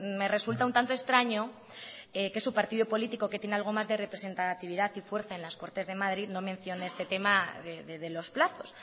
me resulta un tanto extraño que su partido político que tiene algo más de representatividad y fuerza en las cortes de madrid no mencione este tema de los plazos